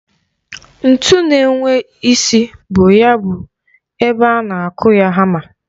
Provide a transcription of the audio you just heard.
Ntu na-enwe isi bu ya bụ ebe a na-akụ ya hama.